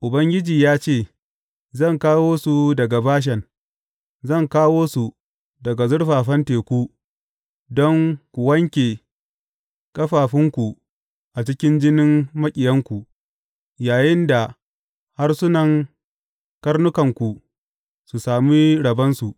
Ubangiji ya ce, Zan kawo su daga Bashan; zan kawo su daga zurfafan teku, don ku wanke ƙafafunku a cikin jinin maƙiyanku, yayinda harsunan karnukanku su sami rabonsu.